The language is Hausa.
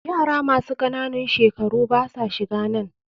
Yara masu ƙananun shekaru basa shiganan.